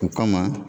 O kama